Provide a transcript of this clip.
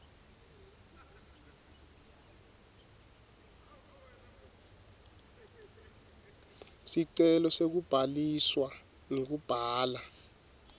sicelo sekubhaliswa ngekubhala